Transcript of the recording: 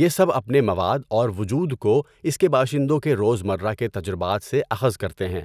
یہ سب اپنے مواد اور وجود کو اس کے باشندوں کے روزمرہ کے تجربات سے اخذ کرتے ہیں۔